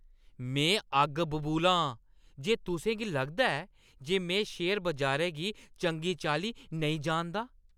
में अग्ग बबूला आं जे तुसें गी लगदा ऐ जे में शेयर बजारै गी चंगी चाल्ली नेईं जानदा।